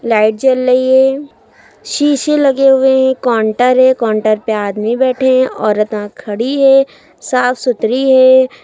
Light जल रही है शीशे लगे हुए हैं काउंटर है काउंटर पे आदमी बैठे हैं औरता खड़ी हैं साफ सुथरी है।